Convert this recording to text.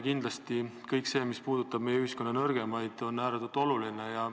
Kindlasti on kõik see, mis puudutab ühiskonna nõrgemaid, ääretult oluline.